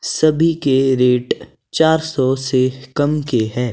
सभी के रेट चार सौ से कम के हैं।